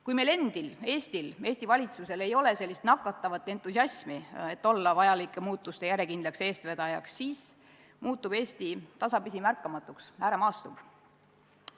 Kui meil endil, Eestil, Eesti valitsusel, ei ole nakatavat entusiasmi, et olla vajalike muutuste järjekindel eestvedaja, siis muutub Eesti tasapisi märkamatuks, ääremaastub.